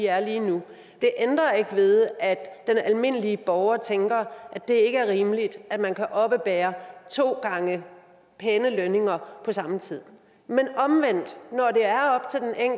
er lige nu det ændrer ikke ved at den almindelige borger tænker at det ikke er rimeligt at man kan oppebære to gange pæne lønninger på samme tid men omvendt når